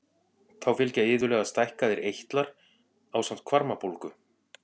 Þá fylgja iðulega stækkaðir eitlar ásamt hvarmabólgu.